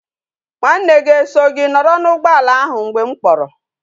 Nwa nne gi e so gi noro na ugboala ahu mgbe m kporo?